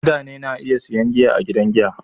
Mutane na iya sayan giya a gidan giya